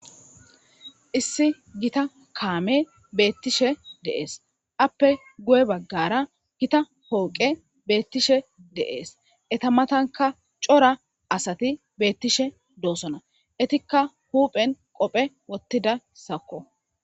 Issi gita kaame betishe de'es appe guye baggara gita pooqe beettishe deees eta matanka cora asati beettishe doosona etikka huuphen qophe wottida sakko